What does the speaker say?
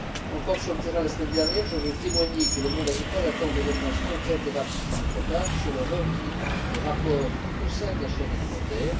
Encore sur le terrain la semaine dernière, je veux témoigner que le monde agricole attend des réponses concrètes et rapides de notre part sur le rééquilibrage des rapports au sein de la chaîne alimentaire.